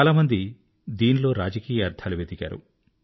చాలామంది దీనిలో రాజకీయ అర్థాలు వెదికారు